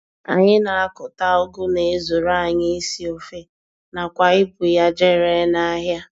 Anyị na-akụta Ụgụ na-ezuru anyị isi ofe nakwa ibu ya jee ree n'ahịa.